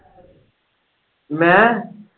ਮੈਂ।